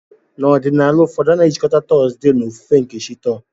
N'ọdịnala ụfọdụ, a na-ejikọta Thursday na ofufe nke chi Thor.